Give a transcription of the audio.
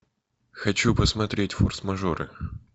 хочу посмотреть форс мажоры